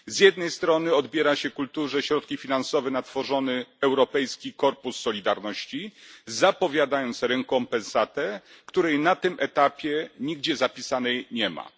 Z jednej strony odbiera się kulturze środki finansowe na tworzony Europejski Korpus Solidarności, zapowiadając rekompensatę, której na tym etapie nigdzie zapisanej nie ma.